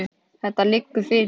Þetta liggur fyrir.